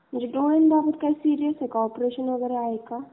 म्हणजे डोळ्यांबाबत काही सिरीयस आहे का? ऑपरेशन वगैरे काय आहे का?